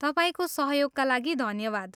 तपाईँको सहयोगका लागि धन्यवाद।